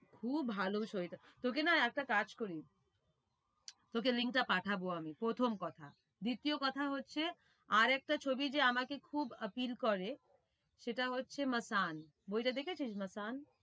খুব ভালো ছবিটা তোকে না একটা কাজ করি তোকে link টা পাঠাবো আমি প্রথম কথা। দ্বিতীয় কথা হচ্ছে আর একটা ছবি যে আমাকে খুব appeal করে সেটা হচ্ছে masaan বইটা দেখেছিস masaan